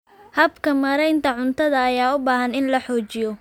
Habka maareynta cuntada ayaa u baahan in la hagaajiyo.